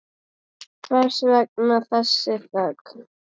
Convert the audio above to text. Hvers vegna þessi þögn?